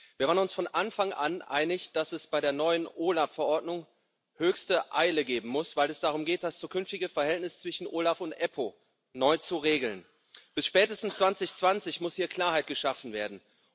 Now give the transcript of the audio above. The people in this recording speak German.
Wir waren uns von Anfang an einig, dass bei der neuen OLAF Verordnung höchste Eile geboten ist, weil es darum geht, das zukünftige Verhältnis zwischen OLAF und EPPO neu zu regeln. Bis spätestens 2020 muss hier Klarheit geschaffen werden.